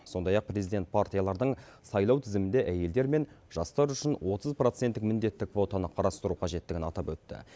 сондай ақ президент партиялардың сайлау тізімінде әйелдер мен жастар үшін отыз проценттік міндетті квотаны қарастыру қажеттігін атап өтті